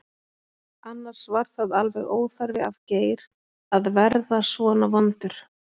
Annars var það alveg óþarfi af Geir að verða svona vondur.